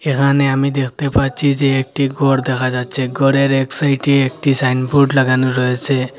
এহানে আমি দেখতে পাচ্ছি যে একটি গর দেখা যাচ্ছে গরের এক সাইটে একটি সাইনবোর্ড লাগানো রয়েছে।